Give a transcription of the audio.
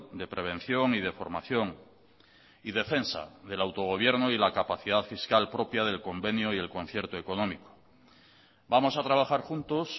de prevención y de formación y defensa del autogobierno y la capacidad fiscal propia del convenio y el concierto económico vamos a trabajar juntos